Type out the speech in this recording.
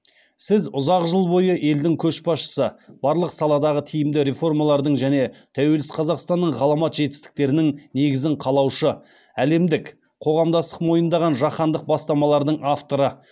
сіз ұзақ жыл бойы елдің көшбасшысы барлық саладағы тиімді реформалардың және тәуелсіз қазақстанның ғаламат жетістіктерінің негізін қалаушы әлемдік қоғамдастық мойындаған жаһандық бастамалардың авторы